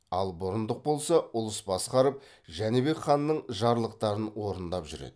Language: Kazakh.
ал бұрындық болса ұлыс басқарып жәнібек ханның жарлықтарын орындап жүреді